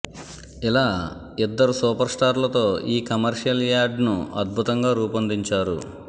ఇలా ఇద్దరు సూపర్ స్టార్లతో ఈ కమర్షియల్ యాడ్ను అద్భుతంగా రూపొందించారు